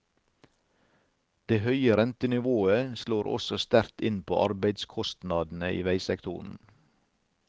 Det høye rentenivået slår også sterkt inn på arbeidskostnadene i veisektoren.